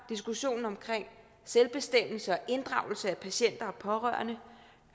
diskussionen omkring selvbestemmelse og inddragelse af patienter og pårørende